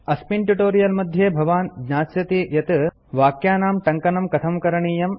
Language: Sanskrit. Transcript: अस्मिन् ट्यूटोरियल मध्ये भवान् ज्ञास्यति यत् वाक्यानां टङ्कनं कथं करणीयम्